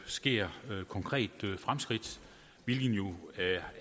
sker konkrete fremskridt hvilket jo